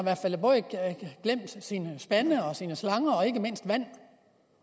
glemt sine spande sine slanger og ikke mindst vand